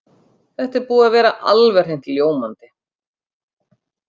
Þetta er búið að vera alveg hreint ljómandi.